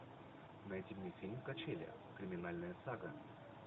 найди мне фильм качели криминальная сага